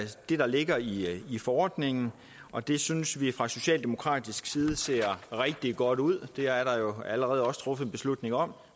det der ligger i i forordningen og det synes vi fra socialdemokratisk side ser rigtig godt ud det er der jo allerede også truffet en beslutning om